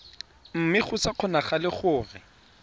mme go sa kgonagale gore